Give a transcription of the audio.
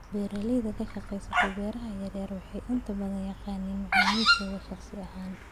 Beeraleyda ka shaqeysa beeraha yar yar waxay inta badan yaqaanaan macaamiishooda shaqsi ahaan.